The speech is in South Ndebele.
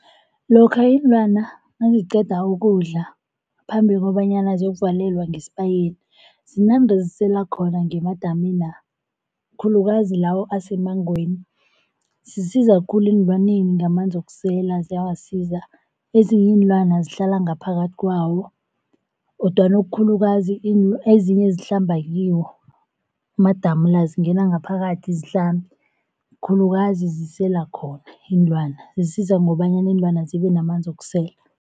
Lokha iinlwana naziqeda ukudla ngaphambi kobanyana ziyokuvalelwa ngesibayeni zinande zisela khona ngemadamina, khulukazi lawo asemmangweni. Zisiza khulu eenlwaneni ngamanzi wokusela ziyawasiza, ezinye iinlwana zihlala ngaphakathi kwawo kodwana okukhulukazi ezinye zihlamba kiwo amadamu la, zingena ngaphakathi zihlambe khulukazi zisela khona iinlwana. Zisiza ngobanyana iinlwana zibe namanzi wokusela.